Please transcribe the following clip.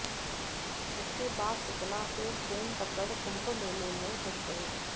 उसके बाद सतना से ट्रेन पकड़ कुंभ मेले में घुस गए